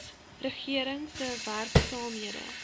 regering se werksaamhede